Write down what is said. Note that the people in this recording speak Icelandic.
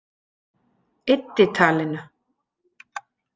Eyddi talinu.